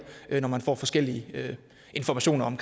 når man får forskellige informationer om